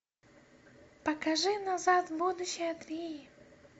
покажи назад в будущее три